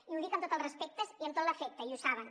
i ho dic amb tots els respectes i amb tot l’afecte i ho saben